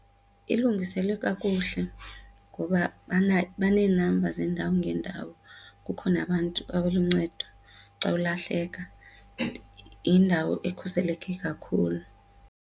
Ilungiselwe kakuhle ngoba banee-number zeendawo ngeendawo. Kukho nabantu abaluncedo xa ulahleka yindawo ekhuseleke kakhulu.